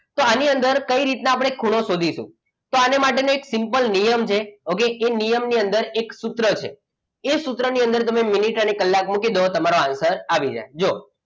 તો આની અંદર આપણે કઈ રીતના ખૂણો શોધીશું તો આની માટેનું એક સિમ્પલ નિયમ છે. okay એ નિયમની અંદર એક સૂત્ર છે એ સૂત્રની અંદર તમે મિનિટ અને કલાક મૂકી દો તમારો answer આવી જાય જુઓ.